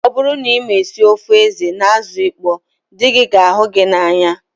Ọ bụrụ na ịma esi ofe ede na azụ ịkpọ dị gị ga ahụ gị n'anya